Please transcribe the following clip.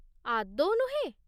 ଆଦୌ ନୁହେଁ !